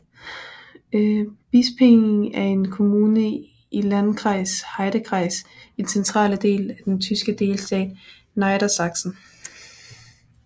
Bispingen er en kommune i Landkreis Heidekreis i den centrale del af den tyske delstat Niedersachsen